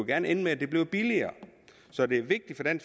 gerne ende med at det blev billigere så det er vigtigt